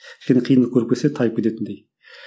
кішкене қиындық көріп келсе тайып кететіндей